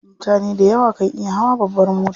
Mutane dayawa kan iya hawa babbar mota.